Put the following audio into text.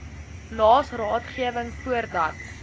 naas raadgewing voordat